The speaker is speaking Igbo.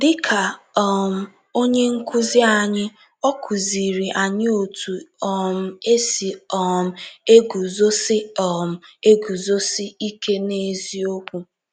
Dị ka um Onye Nkụzi anyị, ọ kụziiri anyị otu um esi um eguzosị um eguzosị ike n’eziokwu.